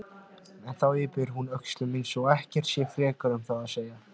En þá yppir hún öxlum eins og ekkert sé frekar um það að segja.